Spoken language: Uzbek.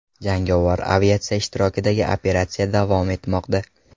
Jangovar aviatsiya ishtirokidagi operatsiya davom etmoqda.